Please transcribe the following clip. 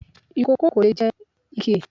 Ìkòkò kò lè jẹ oúnjẹ ìkèlè.